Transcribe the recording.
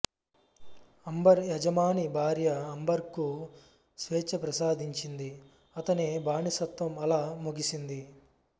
amber యజమాని భార్య Amber కు స్వేచ్ఛ ప్రసాదించింది అతని బానిసత్వం అలా ముగిసింది